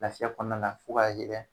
Lafiya kɔnɔna na fo ka